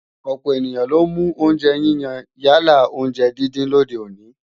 Ọ̀pọ̀ ènìyàn ló ń mú oúnjẹ yíyan yálà oúnjẹ díndín lòde òní